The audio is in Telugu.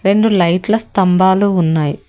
రెండు లైట్ల స్తంభాలు ఉన్నాయి.